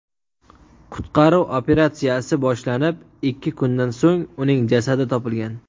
Qutqaruv operatsiyasi boshlanib, ikki kundan so‘ng uning jasadi topilgan.